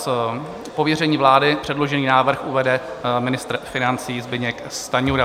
Z pověření vlády předložený návrh uvede ministr financí Zbyněk Stanjura.